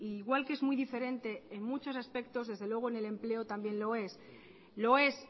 igual que es muy diferente en muchos aspectos desde luego en el empleo también lo es lo es